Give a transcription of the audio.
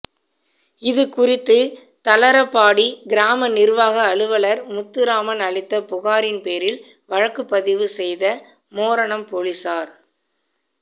இது குறித்து தளரபாடி கிராம நிா்வாக அலுவலா் முத்துராமன் அளித்த புகாரின் பேரில் வழக்குப் பதிவு செய்த மோரணம் போலீஸாா்